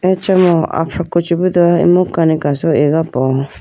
acha mo afraku chibido imu kani kaso iga po.